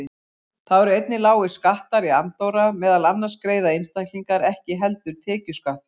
Þá eru einnig lágir skattar í Andorra, meðal annars greiða einstaklingar ekki heldur tekjuskatt þar.